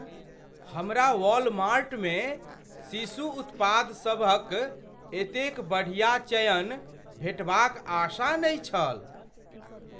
हमरा वॉलमार्ट मे शिशु उत्पादसभक एतेक बढ़ियाचयन भेटबाक आशा नहि छल।